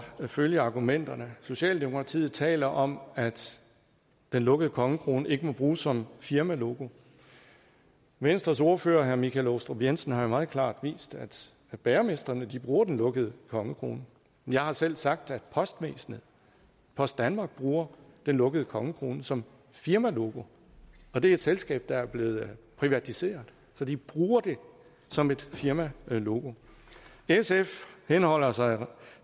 følge argumenterne socialdemokratiet taler om at den lukkede kongekrone ikke må bruges som firmalogo venstres ordfører herre michael aastrup jensen har jo meget klart vist at bagermestrene bruger den lukkede kongekrone jeg har selv sagt at postvæsenet post danmark bruger den lukkede kongekrone som firmalogo og det er et selskab der er blevet privatiseret så de bruger det som et firmalogo sf henholder sig